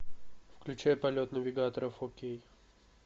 включай полет навигатора фо кей